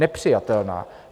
Nepřijatelná.